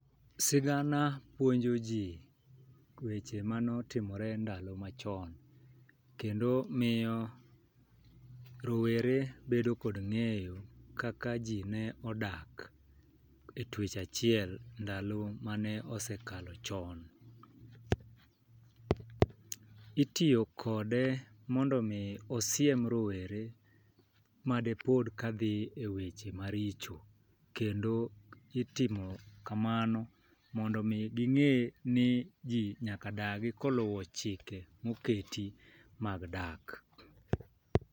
Sigana puonjo ji weche manotimre ndalo machon kendo miyo rowere bedo kod ng'eyo kaka jii ne odak e twech achiel ndalo mane osekalo chon. Itiyo kode mondo mi osiem rowere made pod kadhi eweche maricho kendo itimo kamano mondo mi ging'e ni jii nyaka dagi koluwo chike moketi mag dak.